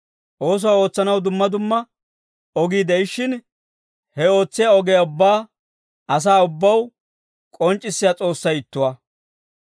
Oosuwaa ootsanaw dumma dumma ogii de'ishshin, he ootsiyaa ogiyaa ubbaa asaa ubbaw k'onc'c'issiyaa S'oossay ittuwaa.